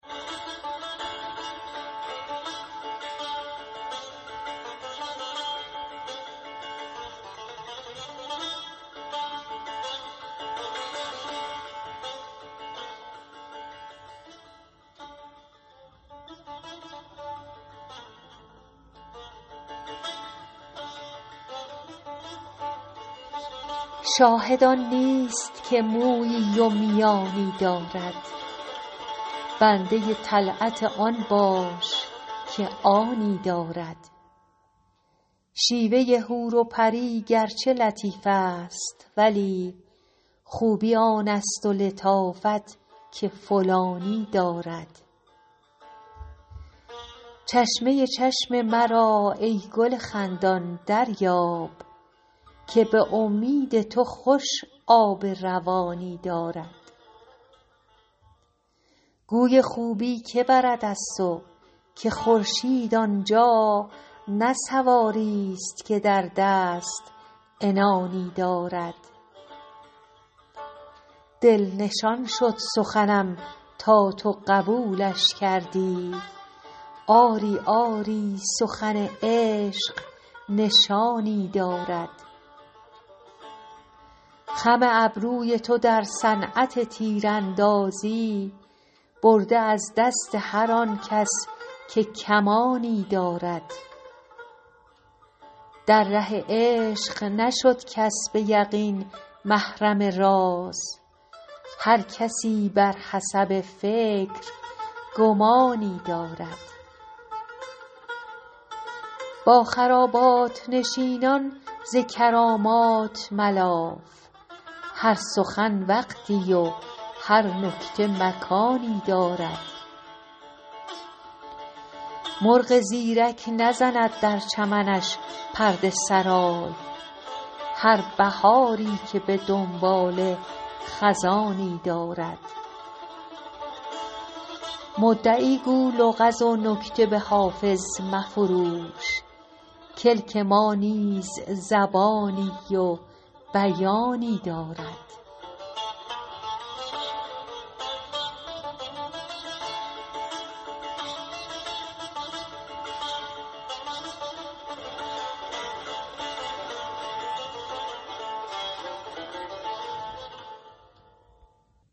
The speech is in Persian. شاهد آن نیست که مویی و میانی دارد بنده طلعت آن باش که آنی دارد شیوه حور و پری گرچه لطیف است ولی خوبی آن است و لطافت که فلانی دارد چشمه چشم مرا ای گل خندان دریاب که به امید تو خوش آب روانی دارد گوی خوبی که برد از تو که خورشید آن جا نه سواریست که در دست عنانی دارد دل نشان شد سخنم تا تو قبولش کردی آری آری سخن عشق نشانی دارد خم ابروی تو در صنعت تیراندازی برده از دست هر آن کس که کمانی دارد در ره عشق نشد کس به یقین محرم راز هر کسی بر حسب فکر گمانی دارد با خرابات نشینان ز کرامات ملاف هر سخن وقتی و هر نکته مکانی دارد مرغ زیرک نزند در چمنش پرده سرای هر بهاری که به دنباله خزانی دارد مدعی گو لغز و نکته به حافظ مفروش کلک ما نیز زبانی و بیانی دارد